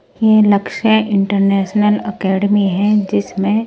यह Lakshya international academy है जिसमें--